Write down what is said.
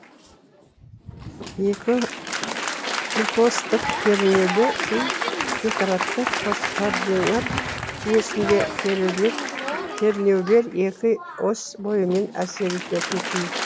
екі осьтік кернеулі күй декараттық координат жүйесінде кернеулер екі ось бойымен әсер ететін күй